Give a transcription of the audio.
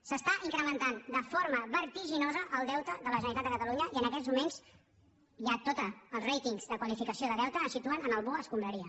s’està incrementant de forma vertiginosa el deute de la generalitat de catalunya i en aquests moments ja tots els ratingsdeute ens situen en el bo escombraria